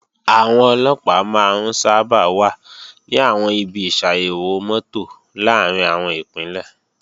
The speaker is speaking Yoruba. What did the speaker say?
Àwọn Ọlọ́pàá máa ń sábà wà ní àwọn ibi ìṣàyèwò mọ́tò làárín àwọn Ìpínlẹ̀